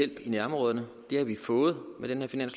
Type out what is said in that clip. i jordan